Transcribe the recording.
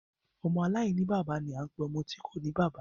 Ọmọ aláìní bàbá ni a ń pe ọmọ tí kòní bàbá.